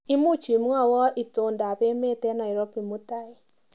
Imuch imwawa itondap emet eng Nairobi mutai?